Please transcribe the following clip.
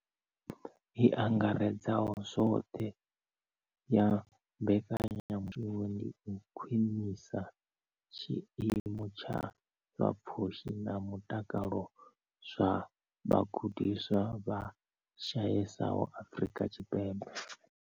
I angaredzaho zwoṱhe ya mbekanyamushumo ndi u khwinisa tshiimo tsha zwa pfushi na mutakalo zwa vhagudiswa vha shayesaho Afrika Tshipembe.